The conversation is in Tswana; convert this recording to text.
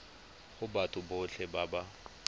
go batho botlhe ba ba